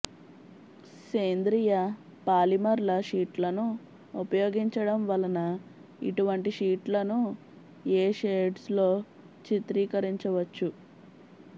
సేంద్రీయ పాలిమర్ల షీట్లను ఉపయోగించడం వలన ఇటువంటి షీట్లను ఏ షేడ్స్లో చిత్రీకరించవచ్చు